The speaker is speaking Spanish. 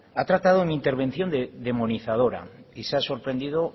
ha tratado mi intervención de demonizadora y se ha sorprendido